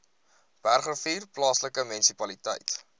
bergrivier plaaslike munisipaliteit